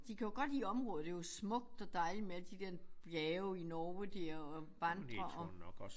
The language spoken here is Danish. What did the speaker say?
De kan jo godt lide området det jo smukt og dejligt med alle de der bjerge i Norge dér og vandre